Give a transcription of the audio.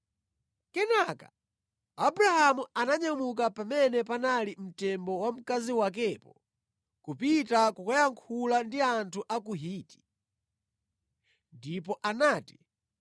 Kenaka Abrahamu ananyamuka pamene panali mtembo wa mkazi wakepo kupita kukayankhula ndi anthu a ku Hiti. Ndipo anati,